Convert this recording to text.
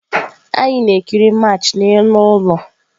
Anyị na-ekiri Match n'elu ụlọ.